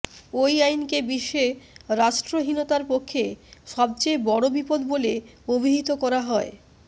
ওই আইনকে বিশ্বে রাষ্ট্রহীনতার পক্ষে সবচেয়ে বড় বিপদ বলে অভিহিত করা হয়